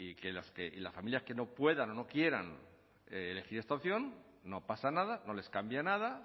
que las familias que no puedan o no quieran elegir esta opción no pasa nada no les cambia nada